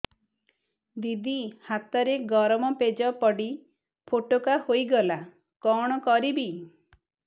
ଦିଦି ହାତରେ ଗରମ ପେଜ ପଡି ଫୋଟକା ହୋଇଗଲା କଣ କରିବି